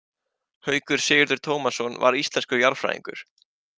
Haukur Sigurður Tómasson var íslenskur jarðfræðingur.